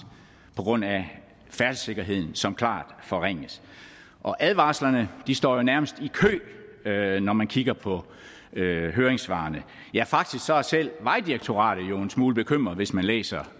på grund af færdselssikkerheden som klart forringes og advarslerne står jo nærmest i kø når man kigger på høringssvarene ja faktisk er selv vejdirektoratet jo en smule bekymret hvis man læser